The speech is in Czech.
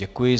Děkuji.